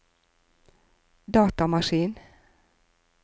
datamaskin